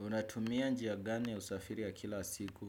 Unatumia njia gani ya usafiri ya kila siku.